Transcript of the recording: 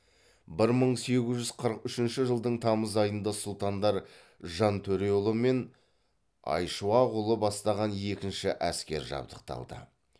бір мың сегіз жүз қырық үшінші жылдың тамыз айында сұлтандар жантөреұлы мен айшуақұлы бастаған екінші әскер жабдықталды